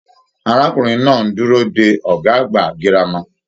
Arákùnrin náà n dúró dé ọgá àgbà gírámà.